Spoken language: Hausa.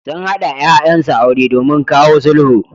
Sun haɗa ƴaƴansu aure domin kawo sulhu.